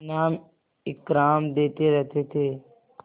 इनाम इकराम देते रहते थे